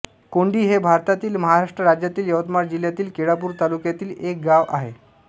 कोंढी हे भारतातील महाराष्ट्र राज्यातील यवतमाळ जिल्ह्यातील केळापूर तालुक्यातील एक गाव आहे